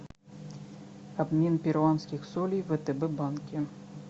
обмен перуанских солей в втб банке